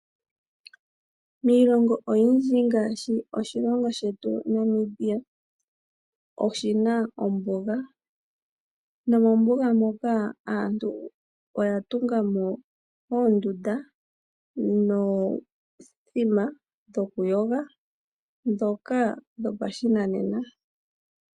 Miilonga oyindji ngaashi oshilongo shetu Namibia, oshina ombunga nomombunga muka aantu oya tungamo oondunda nomithima dhopashinanena dhokuyoga.